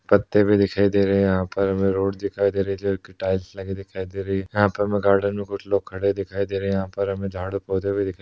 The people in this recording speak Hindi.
पत्ते भी दिखाई दे रहे हैं यहाँं पर हमें रोड दिखाई दे रहे हैं इस जगह टाइल्स लगी दिखाई दे रहे है। यहाँं पर हमें गार्डन में कुछ लोग खड़े दिखाई दे रहे हैं। यहाँं पर हमें झाड़ू पोंछ भी दिखाइ --